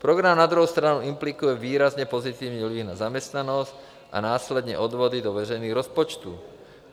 Program na druhou stranu implikuje výrazně pozitivní vliv na zaměstnanost a následné odvody do veřejných rozpočtů.